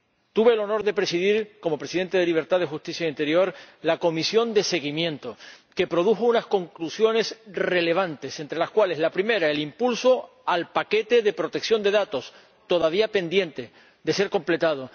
Tuve el honor de presidir, como presidente de la Comisión de Libertades Civiles, Justicia y Asuntos de Interior, la comisión de seguimiento, que produjo unas conclusiones relevantes, entre las cuales, la primera, el impulso al paquete de protección de datos, todavía pendiente de ser completado